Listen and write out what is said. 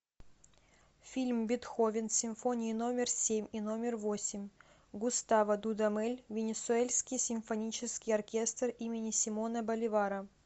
фильм бетховен симфонии номер семь и номер восемь густаво дудамель венесуэльский симфонический оркестр имени симона боливара